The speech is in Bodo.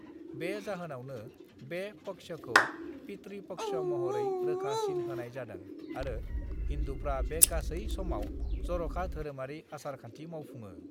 बे जाहोनावनो बे पक्षखौ पितृ पक्ष महरै रोखा सिन होनाय जादों आरो हिन्दुफ्रा बे गासै समाव जर'खा धोरोमारि आसार-खान्थि मावफुङो।